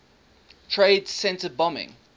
trade center bombing